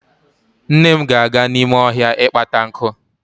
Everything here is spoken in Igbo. Nne m ga-aga n'ime ohia ịkpata nkụ.